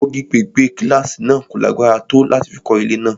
Ó kígbe pé gílàsì náà kò lágbára tó láti fi kọ́ ilé náà.